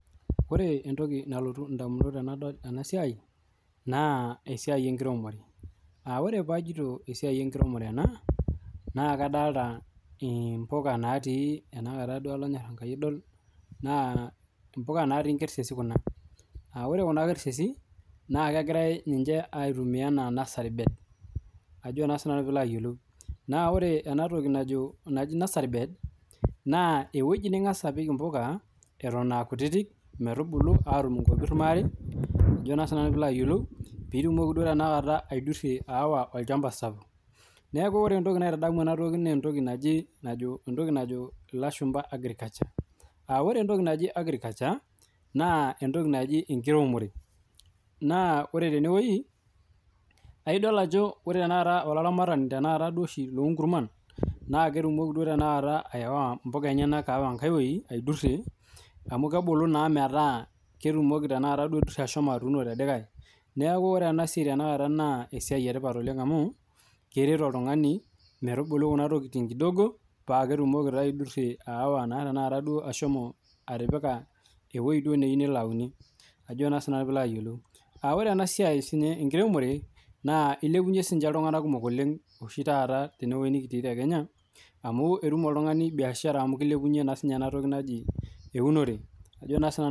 Ore entoki nalotu edamunot tenadol ena siai naa esiai enkiremore ore pajoito esiai enkiremore naa kadolita mbuka natii enkersesi aa ore Kuna kersesi naa kegirai ninche aitumia ena nursery bed naa ore ena toki naaji nursery bed naa ewueji ningas apik mbuka Eton AA kutiti metubulu atum nkopir maare pitumoki aidurie awa olchamba sapuk neeku ore entoki naitadamu ena naa entoki naajo lashumba agriculture ore entoki naaji agriculture naa entoki naaji enkiremore naa ore tenewueji ore oshi oloramatani loo nkurman naa ketumoki duo tanakata awa mbuka enyena aiwueji aidurie amu kebulu metaa ketumoki ahomo atuno tedikae neeku ore enasiai tanakata naa esiai etipat oleng amu keret oltung'ani metubulu Kuna tokitin kidogo paa ketumoki aidurie atipika ewueji neyieu duo nelo aunie ore enasiai enkiremore eilepunye sininye iltung'ana kumok oleng teene wueji nikitii tee Kenya amu etum oltung'ani biashara amu kilepunye ena toki naaji ewunore